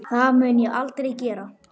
Það mun ég aldrei gera.